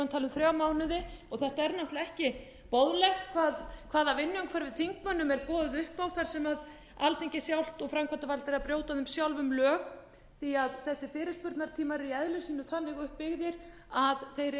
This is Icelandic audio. þrjá mánuði og þetta er náttúrlega ekki boðlegt hvaða vinnuumhverfi þingmönnum er boðið upp á þar sem alþingi sjálft og framkvæmdarvaldið er að brjóta á þeim sjálfum á því að þessir fyrirspurnatímar eru í eðli sínu þannig uppbyggðir að þeir